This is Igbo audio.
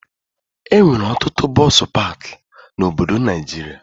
Enwere ọtụtụ bọsụ pakị na obodo Naijiria